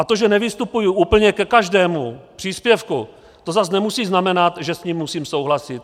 A to, že nevystupuji úplně ke každému příspěvku, to zas nemusí znamenat, že s ním musím souhlasit.